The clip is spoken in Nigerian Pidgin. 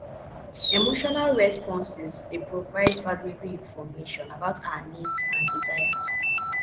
emotional responses dey provide valuable information about our needs and desires